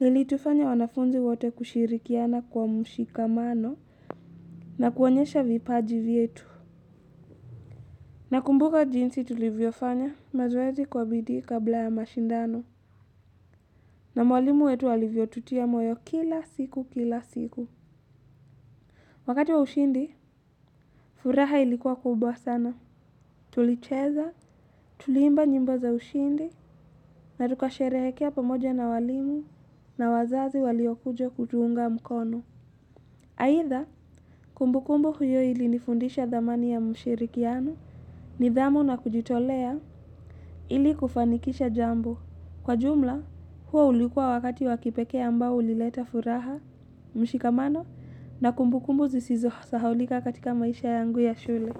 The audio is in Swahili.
lilitufanya wanafunzi wote kushirikiana kwa mushikamano na kuonyesha vipaji vyetu. Nakumbuka jinsi tulivyo fanya mazoezi kwa bidii kabla ya mashindano na mwalimu wetu alivyo tutia moyo kila siku kila siku. Wakati wa ushindi, furaha ilikuwa kubwa sana. Tulicheza, tuliimba nyimbo za ushindi na tukasherehekea pamoja na walimu na wazazi waliokuja kutuunga mkono. Aitha, kumbukumbu hiyo ilinifundisha dhamani ya mshirikiano nidhamu na kujitolea ili kufanikisha jambo. Kwa jumla, huo ulikuwa wakati wakipekee ambao ulileta furaha, mshikamano na kumbukumbu zisizo sahaulika katika maisha yangu ya shule.